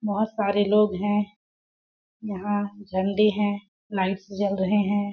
बहुत सारे लोग हैं यहां घंडे हैं लाइट्स जल रहे हैं।